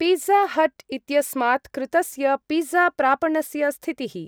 Pizza Hut इत्यस्मात् कृतस्य पिज़्ज़ा-प्रापणस्य स्थितिः।